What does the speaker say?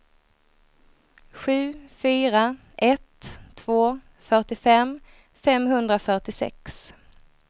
sju fyra ett två fyrtiofem femhundrafyrtiosex